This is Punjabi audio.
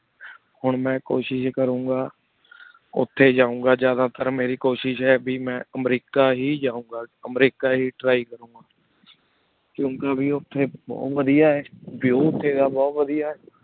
ਹੁਣ ਮੈ ਕੋਸ਼ਿਸ਼ ਕਰੁਣ ਗਾ ਓਥੀ ਜੋੰਗਾ ਜ਼ਿਯਾਦਾ ਤਾਰ ਮੇਰੀ ਕੋਸ਼ਿਸ਼ ਆਯ ਬੀ ਮੈਂ ਅਮ੍ਰੇਕਾ ਹੀ ਜੋੰ ਗਾ ਅਮਰੀਕਾ ਹੀ try ਕਰੋਂ ਕੁੰਕ੍ਯ ਵੇ ਓਥੀ ਬੁਹਤ ਵਾਦਿਯ ਆਯ view ਵੇ ਬੁਹਤ ਵਾਦਿਯ ਆਯ